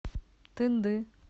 тынды